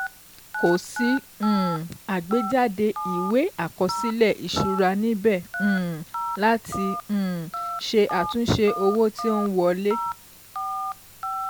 Kò sí um àgbéjáde ìwé àkọsílẹ̀ ìṣúra níbẹ̀ um láti um ṣe àtúnṣe owó tí ó n wọlé.